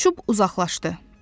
O uçub uzaqlaşdı.